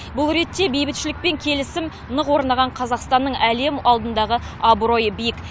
бұл ретте бейбітшілік пен келісім нық орнаған қазақстанның әлем алдындағы абыройы биік